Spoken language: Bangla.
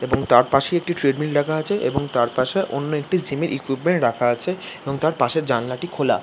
এবং তারপাশে একটি ট্রেডমিল রাখা আছে তারপাশে অন্য একটি জিমের ইকুইপমেন্ট রাখা আছে এবং তার পাশের জানালাটি খোলা ।